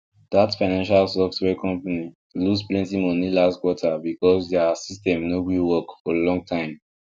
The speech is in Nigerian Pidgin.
that financial software company lose plenty money last quarter because their system no gree work for long time